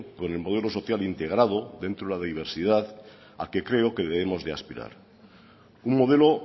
con el modelo social integrado dentro de la diversidad a que creo que debemos de aspirar un modelo